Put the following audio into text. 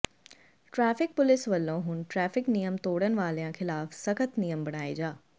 traffic police ਵੱਲੋਂ ਹੁਣ traffic ਨਿਯਮ ਤੋੜਨ ਵਾਲਿਆਂ ਖਿਲਾਫ਼ ਸਖਤ ਨਿਯਮ ਬਣਾਏ ਜਾ